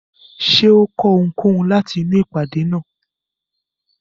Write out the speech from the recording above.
Ṣé ó kọ́ ohunkóhun láti inú ìpàdé náà?